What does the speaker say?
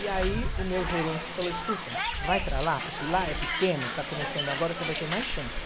E aí o meu gerente falou, escuta, vai para lá, porque lá é pequeno, está começando agora, você vai ter mais chance.